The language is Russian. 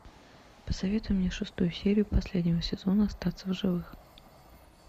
посоветуй мне шестую серию последнего сезона остаться в живых